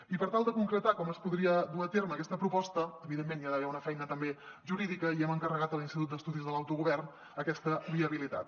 i per tal de concretar com es podria dur a terme aquesta proposta evidentment hi ha d’haver una feina també jurídica i hem encarregat a l’institut d’estudis de l’autogovern aquesta viabilitat